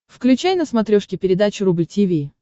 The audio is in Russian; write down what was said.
включай на смотрешке передачу рубль ти ви